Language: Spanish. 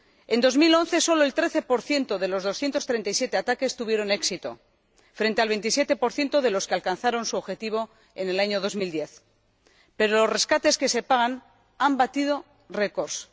En 2011 sólo el 13 de los 237 ataques tuvieron éxito, frente al 27 de los que alcanzaron su objetivo en el año 2010. Pero los rescates que se pagan han batido récords.